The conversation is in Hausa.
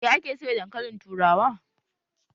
Ya ake soya dankali turawa?